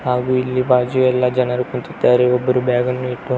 ಹಾಗು ಇಲ್ಲಿ ಬಾಜು ಎಲ್ಲ ಜನರು ಕುಂತಿದ್ದಾರೆ ಒಬ್ಬರು ಬ್ಯಾಗ್ ನ್ನು ಇಟ್ಟು --